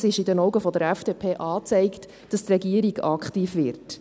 Es ist aus Sicht der FDP angezeigt, dass die Regierung aktiv wird.